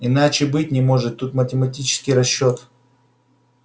иначе и быть не может тут математический расчёт